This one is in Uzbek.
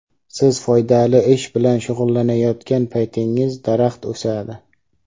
Siz foydali ish bilan shug‘ullanayotgan paytingiz daraxt o‘sadi.